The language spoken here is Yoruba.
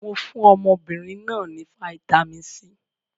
Mo fún ọmọbìnrin náà ní fataímìn C.